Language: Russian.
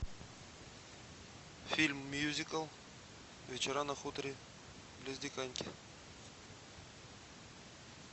фильм мюзикл вечера на хуторе близ диканьки